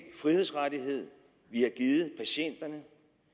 frihedsrettighed vi har givet patienterne